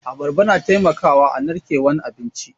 Abarba na taimakawa a narkewan abinci.